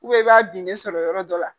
i b'a den de sɔrɔ yɔrɔ dɔ la